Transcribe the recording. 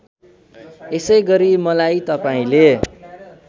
यसैगरी मलाई तपाईँले